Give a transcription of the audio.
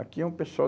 Aqui é um pessoal.